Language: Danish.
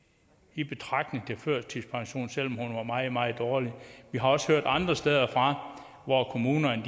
i betragtning til førtidspension selv om hun var meget meget dårlig vi har også hørt andre steder fra at kommunerne